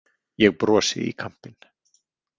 Ég brosi í kampinn.